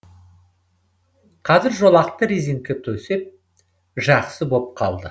қазір жолақты резеңке төсеп жақсы боп қалды